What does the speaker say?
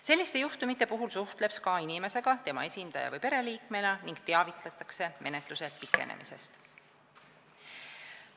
Selliste juhtumite puhul suhtleb SKA inimesega, tema esindaja või pereliikmega ning neid teavitatakse menetluse pikenemisest.